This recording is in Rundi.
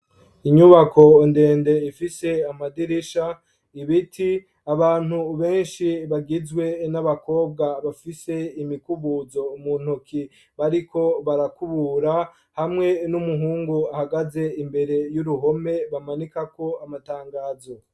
Inyubako ndende ifise amadirisha ibiti abantu benshi bagizwe n'abakobwa bafise imikubuzo mu ntoki bariko barakubura hamwe n'umuhungu ahagaze imbere y'uruhome bamanika ko amatangazo.